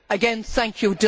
Again, thank you.